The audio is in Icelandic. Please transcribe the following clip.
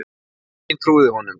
Enginn trúði honum.